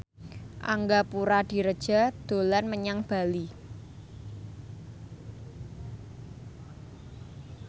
Angga Puradiredja dolan menyang Bali